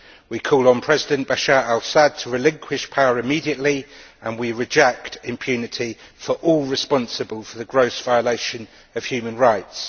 We call on President Bashar al Assad to relinquish power immediately and we reject impunity for all those responsible for the gross violation of human rights.